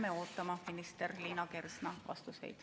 Jääme ootama minister Liina Kersna vastuseid.